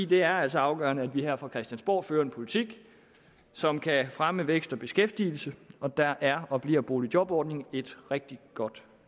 det er altså afgørende at vi her fra christiansborg fører en politik som kan fremme vækst og beskæftigelse og der er og bliver boligjobordningen et rigtig godt